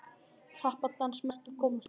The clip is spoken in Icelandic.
Krappan dans margir komast í.